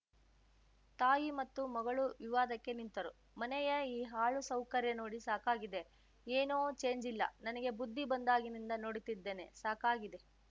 ತಾಯಿ ಮತ್ತು ಮಗಳು ವಿವಾದಕ್ಕೆ ನಿಂತರು ಮನೆಯ ಈ ಹಾಳು ಸೌಕರ್ಯ ನೋಡಿ ಸಾಕಾಗಿದೆ ಏನೂ ಚೇಂಜ್‌ ಇಲ್ಲ ನನಗೆ ಬುದ್ಧಿ ಬಂದಾಗಿನಿಂದ ನೋಡುತ್ತಿದ್ದೇನೆ ಸಾಕಾಗಿದೆ